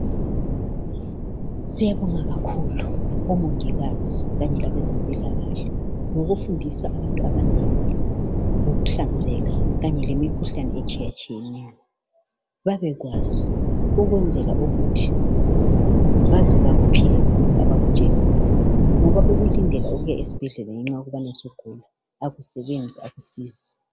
Siyabonga kakhulu omongikazi kanye labezempilakahle ngokufundisa abantu abanengi ngokuhlanzeka kanye lemikhuhlane etshiyatshiyeneyo babekwazi ukwenzela ukuthi baze bakuphile khonokho abakutsheliweyo ngoba ukulindela ukuya esibhedlela ngenxa yokubani sugula akusebenzi akusizi.